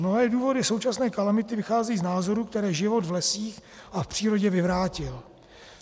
Mnohé důvody současné kalamity vycházejí z názoru, který život v lesích a v přírodě vyvrátil.